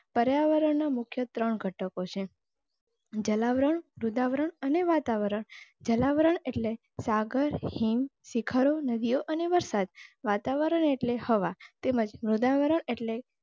પર્યાવરણના મુખ્ય ત્રણ ઘટકો છે જલાવરણ, મૃદાવરણ અને વાતાવરણ, જલાવરણ એટલે સાગર, હિમ, શિખરો, નદીઓ અને વરસાદ. વાતાવરણ એટલે હવા તેમજ મૃદાવરણ એટલે.